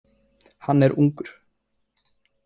Hann er ungur.